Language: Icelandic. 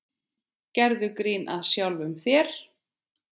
Gerðu grín að sjálfum þér.